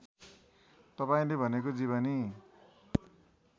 तपाईँले भनेको जीवनी